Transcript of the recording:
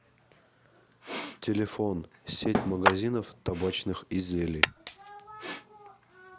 телефон сеть магазинов табачных изделий